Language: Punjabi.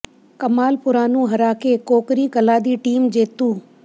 ਕਮਾਲਪੁਰਾ ਨੂੰ ਹਰਾ ਕੇ ਕੋਕਰੀ ਕਲਾਂ ਦੀ ਟੀਮ ਜੇਤੂ